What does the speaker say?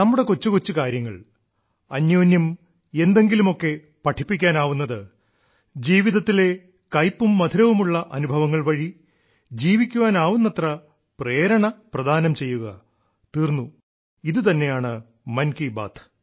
നമ്മുടെ കൊച്ചു കൊച്ചു കാര്യങ്ങൾ അന്യോന്യം എന്തെങ്കിലുമൊക്കെ പഠിപ്പിക്കാനാവുന്നത് ജീവിതത്തിലെ കയ്പും മധുരവുമുള്ള അനുഭവങ്ങൾ വഴി ജീവിക്കുവാനാവുന്നത്ര പ്രേരണ പ്രദാനം ചെയ്യുക തീർന്നു ഇതു തന്നെയാണ് മൻ കി ബാത്ത്